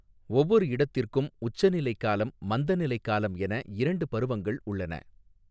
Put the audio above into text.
ஒவ்வொரு இடத்திற்கும் உச்சநிலை காலம் மந்தநிலை காலம் என இரண்டு பருவங்கள் உள்ளன.